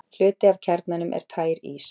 hluti af kjarnanum er tær ís